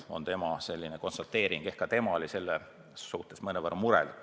See oli tema selline konstateering.